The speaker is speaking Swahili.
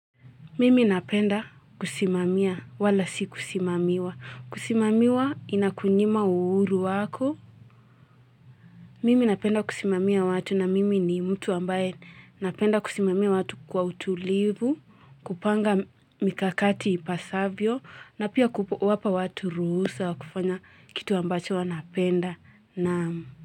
Mimi napenda kusimamia wala si kusimamiwa. Kusimamiwa inakunyima uhuru wako. Mimi napenda kusimamiwa watu na mimi ni mtu ambaye napenda kusimamiwa watu kwa utulivu, kupanga mikakati ipasavyo na pia kupo wapa watu ruhusa wa kufanya kitu ambacho wanapenda.